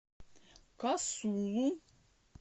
касулу